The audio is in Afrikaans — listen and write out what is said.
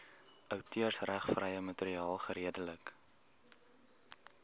outeursregvrye materiaal geredelik